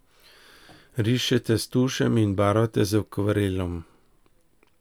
Rišete s tušem in barvate z akvarelom.